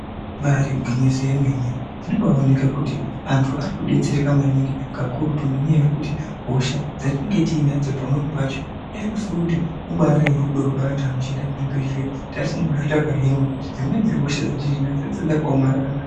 Imbari igwinyiso remene zvino mbayioneka kuti vanhu vari kudetsereka maningi kakurutu ngenyaya yekuti hosha dzatinenge tinadzo pamweni pacho dai kusirikuti ibari rudo rwevantu vanoshanda muzvibhedhlera tanga tisingambofi takahinwa dzimweni hosha dzatinadzo dzinenge dzaka omarara maningi.